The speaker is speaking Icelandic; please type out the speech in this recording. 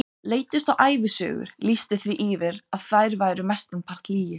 Leiddust þá ævisögur, lýsti því yfir að þær væru mestan part lygi.